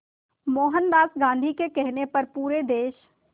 मोहनदास गांधी के कहने पर पूरे देश